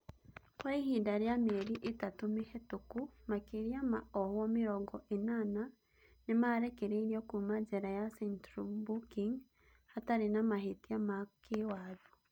kwa ihinda rĩa mĩeri ĩtatũ mĩhetũku, makĩria ma ohwo mĩrongo ĩnana nĩmarekereirio kuma jera ya Central Booking hatarĩ na mahĩtia ma kĩĩwatho.